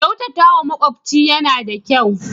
Kyautatawa makyafci yana da kyau.